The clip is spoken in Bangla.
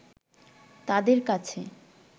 তাদের কাছে